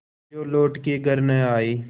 जो लौट के घर न आये